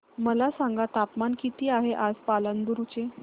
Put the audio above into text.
मला सांगा तापमान किती आहे आज पालांदूर चे